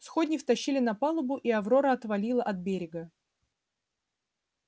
сходни втащили на палубу и аврора отвалила от берега